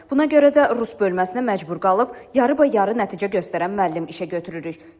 Buna görə də rus bölməsinə məcbur qalıb yarıbayarı nəticə göstərən müəllim işə götürürük.